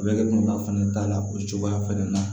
A bɛ kɛba fana ta la o cogoya fɛnɛ na